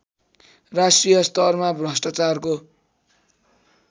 राष्ट्रिय स्तरमा भ्रष्टाचारको